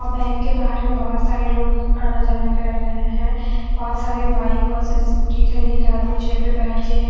bank के बाहर में बहुत सारे लोग आना जाना कर रहे हैं बहुत सारे बाइक बहुत सारी स्कूटी घरी एक आदमी चेयर पे बैठ के--